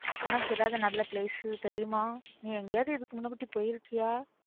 உனக்கு ஏதாவது நல்ல place தெரியுமா நீ எங்கயாவது இதுக்கு முன்னாடி போயிருக்கியா